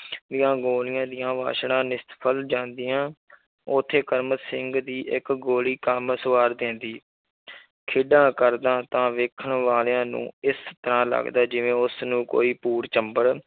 ਦੀਆਂ ਗੋਲੀਆਂ ਦੀਆਂ ਵਾਛੜਾਂ ਨਿਸ਼ਫ਼ਲ ਜਾਂਦੀਆਂ ਉੱਥੇ ਕਰਮ ਸਿੰਘ ਦੀ ਇੱਕ ਗੋਲੀ ਕੰਮ ਸੰਵਾਰ ਦਿੰਦੀ ਖੇਡਾਂ ਕਰਦਾ ਤਾਂ ਵੇਖਣ ਵਾਲਿਆਂ ਨੂੰ ਇਸ ਤਰ੍ਹਾਂ ਲੱਗਦਾ ਜਿਵੇਂ ਉਸਨੂੰ ਕੋਈ ਭੂਤ ਚਿੰਬੜ